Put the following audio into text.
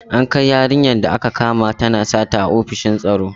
An kai yarinyar da aka kama tana sata ofishin en tsaro.